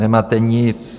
Nemáte nic.